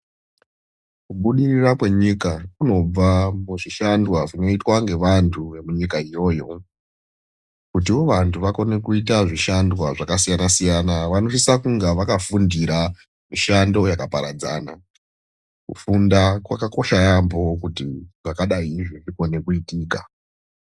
Kubudirira kwenyika kunobva muzvishandwa zvinoitwa ngevanhu vemunyika iyoyo kutiwo vanhu vakone kuita zvishandwa zvakasiyana siyana vanosisa kunga vakafundira mishando yakaparadzana. Kufunda kwakakosha yamho kuti zvakadai izvi zvikone kuitika